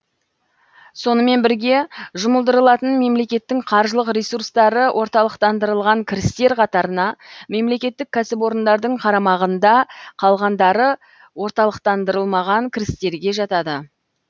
сонымен бірге жұмылдырылатын мемлекеттің қаржылық ресурстары орталықтандырылған кірістер қатарына мемлекеттік кәсіпорындардың қарамағында калғандары орталықтандырылмаған кірістерге жатады